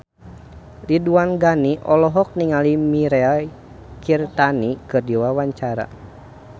Ridwan Ghani olohok ningali Mirei Kiritani keur diwawancara